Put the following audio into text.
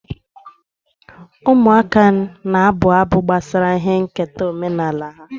Ụmụaka na-abụ abụ gbasara ihe nketa omenala ha.